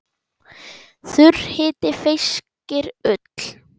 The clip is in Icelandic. Þurr hiti feyskir ull.